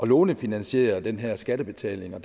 lånefinansiere den her skattebetaling og